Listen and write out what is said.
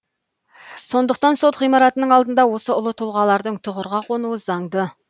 сондықтан сот ғимаратының алдында осы ұлы тұлғалардың тұғырға қонуы заңды